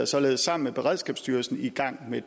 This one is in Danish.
således sammen med beredskabsstyrelsen i gang med